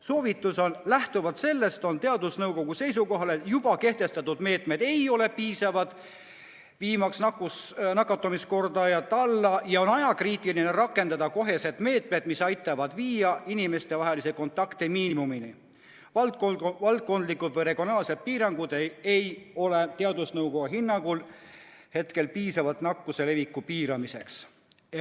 Soovitus on järgmine: lähtuvalt sellest on teadusnõukoda seisukohal, et juba kehtestatud meetmed ei ole piisavad viimaks nakatumiskordajat alla ja on ajakriitiline rakendada kohe meetmeid, mis aitavad viia inimestevahelised kontaktid miinimumini; valdkondlikud või regionaalsed piirangud ei ole teadusnõukoja hinnangul hetkel piisavad nakkuse leviku piiramiseks.